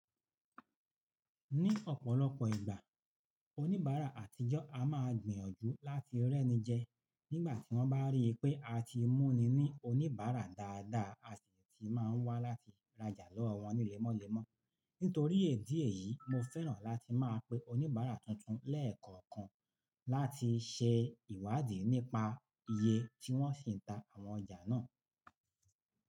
Ní ọ̀pọ̀lọpọ̀ ìgbà, oníbàárà àtijọ́ a máa gbìyànjú láti rẹ́ni jẹ nígbà tí wọ́n bá rí i pé a ti mú ni ní oníbàárà dáadáa, àṣìṣe ti máa wá láti rajà lọ́wọ́ wọn ní lẹ́mọ́lẹ́mọ́. Nítorí èdè yìí, mo fẹ́ràn láti máa pe oníbàárà tuntun lẹ́ẹ̀kọ̀kan láti ṣe ìwádìí nípa iye tí wọ́n sì ń ta àwọn ọjà náà.